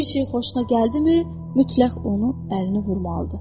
Bir şeyi xoşuna gəldimi, mütləq onu əlini vurmalıdır.